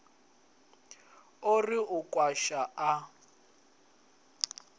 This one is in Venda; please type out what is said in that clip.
o ri u kwasha a